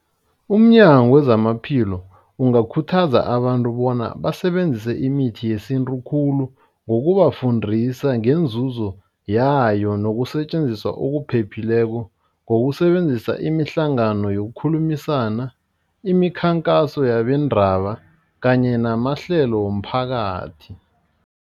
Umnyango wezamaphilo ungakhuthaza abantu bona basebenzise imithi yesintu khulu. Ngokubafundisa ngeenzuzo yayo, nokusetjenziswa okuphephileko, ngokusebenzisa imihlangano yokukhulumisana, imikhankaso yabeendaba kanye namahlelo womphakathi.